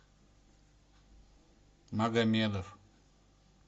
магомедов